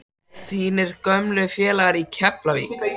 Þínir gömlu félagar í Keflavík?